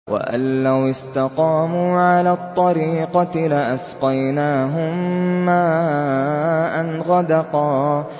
وَأَن لَّوِ اسْتَقَامُوا عَلَى الطَّرِيقَةِ لَأَسْقَيْنَاهُم مَّاءً غَدَقًا